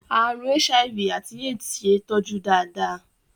Àrùn HIV àti AIDS ṣe é tọ́jú dáadáa.